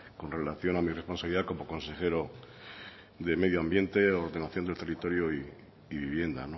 con relación a mi responsabilidad como consejero de medio ambiente ordenación del territorio y vivienda